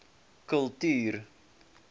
kultuur